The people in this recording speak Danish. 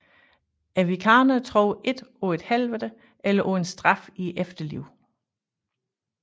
Wiccanere tror ikke på et Helvede eller på en straf i efterlivet